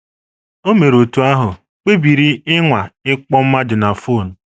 O mere otú ahụ, kpebiri ịnwa ịkpọ mmadụ na fon.